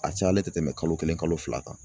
A cayalen tɛ tɛmɛ kalo kelen kalo fila kan